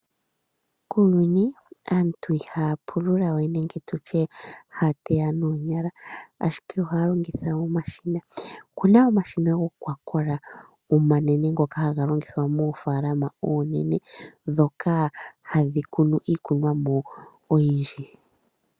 Kuuyuni aantu ihaya pulula we nenge tutye haya teya noonyala ashike ohaya longitha omashina. Okuna omashina gokwakola omanene ngoka haga longithwa moofaalama oonene dhoka hadhi kunu iikunomwa oyindji.